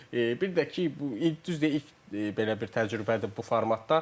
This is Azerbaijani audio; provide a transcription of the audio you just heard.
Bir də ki, bu düzdür, ilk belə bir təcrübədir bu formatda.